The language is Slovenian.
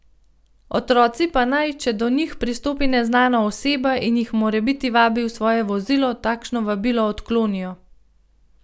Otroci pa naj, če do njih pristopi neznana oseba in jih morebiti vabi v svoje vozilo, takšno vabilo odklonijo.